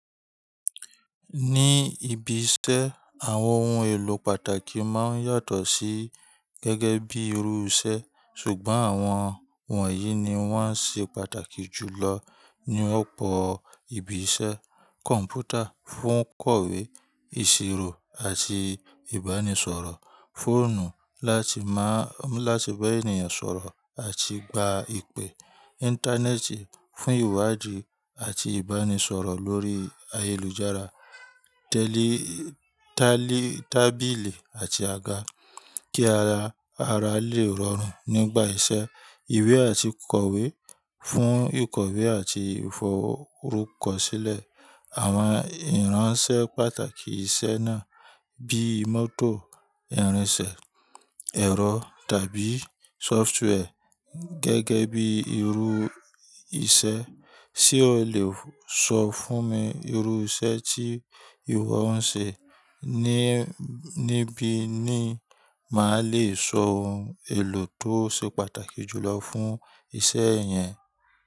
Ní ibi iṣẹ́, àwọn ohun èlò pàtàkì máa ń yàtọ̀ sí gẹ́gẹ́ bí irú iṣẹ́, ṣùgbọ́n àwọn wọ̀nyí ni wọ́n ṣe pàtàkì jùlọ ní ọ̀pọ̀ ibi iṣẹ́: Kọ̀m̀pútà fún kọ̀wé, ìṣirò àti ìbánisọ̀rọ̀. Fóònù láti bá ènìyàn sọ̀rọ̀ àti gba ìpè. Íńtánẹ́ẹ̀tì fún ìwádìí àti ìbánisọ̀rọ̀ lórí ayélujára. Tábili àti àga kí ara lè rọrùn nígbà iṣẹ́. Iwé àti kọ̀wé fún ìkọ̀wé àti ìfọrúkọsílẹ̀. Àwọn ìránṣẹ́ pàtàkì iṣẹ́ náà bí mótò, ìrinsẹ̀, ẹ̀rọ tàbí sóftúwẹ́ẹ̀ gẹ́gẹ́ bí irúu iṣẹ́. Sé o lè sọ fún mi irú iṣẹ́ tí ìwọ ń ṣe, ni, níbí ni máa lè sọ ohun èlò tó ṣe pàtàkì jù lọ fún iṣẹ́ yẹn?